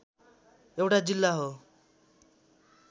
एउटा जिल्ला हो।